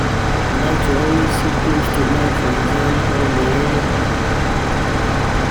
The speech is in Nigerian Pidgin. I dey like to always sit close to Mike for exam um hall